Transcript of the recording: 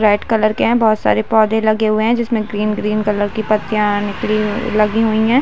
Red colour के है बहोत सारे पौधे लगे हुए है और जिसमे ग्रीन ग्रीन कलर की पत्तियाँ निकली लगी हुई है।